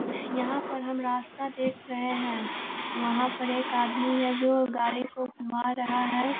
यहाँ पर हम रास्ता देख रहे हैं वहा पर एक आदमी हैं जो गाड़ी को घुमा रहा हैं।